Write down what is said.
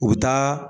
U bɛ taa